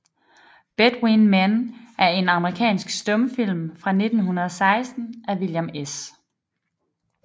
Between Men er en amerikansk stumfilm fra 1916 af William S